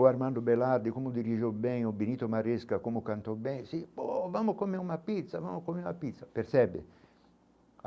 O Armando Belardi, como dirigiu bem, o Benito Márezca, como cantou bem, disse, pô vamos comer uma pizza, vamos comer uma pizza, percebe?